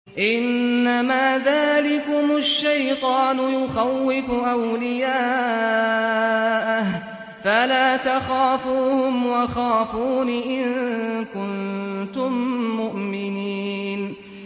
إِنَّمَا ذَٰلِكُمُ الشَّيْطَانُ يُخَوِّفُ أَوْلِيَاءَهُ فَلَا تَخَافُوهُمْ وَخَافُونِ إِن كُنتُم مُّؤْمِنِينَ